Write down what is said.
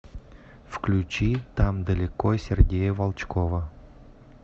включи там далеко сергея волчкова